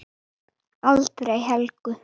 Aldrei Helgu.